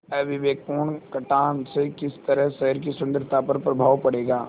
अविवेकपूर्ण कटान से किस तरह शहर की सुन्दरता पर प्रभाव पड़ेगा